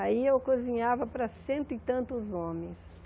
Aí eu cozinhava para cento e tantos homens.